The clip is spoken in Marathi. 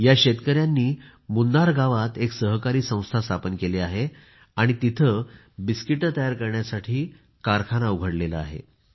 या शेतकयांनी मुन्नार गावात एक सहकारी संस्था स्थापन केली आहे आणि तिथे बिस्किटे तयार करण्यासाठी कारखाना उघडला आहे